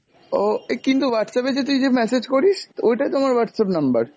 ও, এ কিন্তু Whatsapp এ যে তুই যে message করিস, ওইটাই তো আমার Whatsapp number।